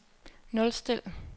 nulstil